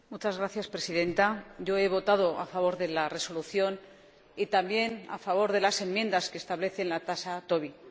Señora Presidenta, yo he votado a favor de la resolución y también a favor de las enmiendas que establecen la tasa Tobin.